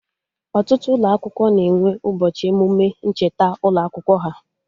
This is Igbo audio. Ọtụtụ ụlọ akwụkwọ na-enwe ụbọchị emụme ncheta ụlọ akwụkwọ ha